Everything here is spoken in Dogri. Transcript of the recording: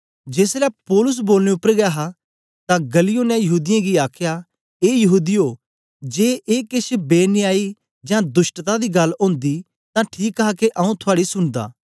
जेसलै पौलुस बोलने उपर गै हा तां गल्लियो ने यहूदीयें गी आखया ए यहूदीयो जे ए केछ बेन्यायी जां दुष्टता दी गल्ल ओंदी तां ठीक हा के आंऊँ थुआड़ी सुनदा